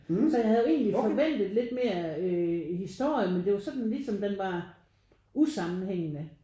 Så jeg havde jo egentlig forventet lidt mere øh historie men det var jo sådan ligesom den var usammenhængende